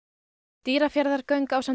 Dýrafjarðargöng ásamt